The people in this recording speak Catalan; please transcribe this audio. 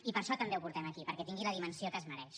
i per això també ho portem aquí perquè tingui la dimensió que es mereix